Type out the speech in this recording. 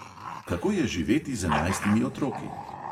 Kako je živeti z enajstimi otroki?